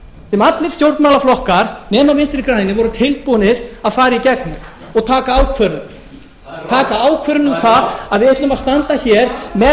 sem allir stjórnmálaflokkar nema vinstri grænir voru tilbúnir að fara í gegnum og taka ákvörðun taka ákvörðun um það að við ætlum að standa hér með